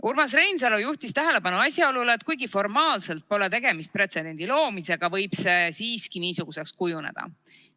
Urmas Reinsalu juhtis tähelepanu asjaolule, et kuigi formaalselt pole tegemist pretsedendi loomisega, võib see siiski niisuguseks kujuneda.